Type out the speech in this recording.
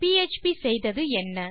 PHP செய்தது என்ன